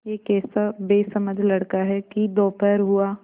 यह कैसा बेसमझ लड़का है कि दोपहर हुआ